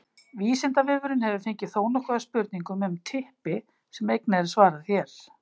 vísindavefurinn hefur fengið þónokkuð af spurningum um typpi sem einnig er svarað hér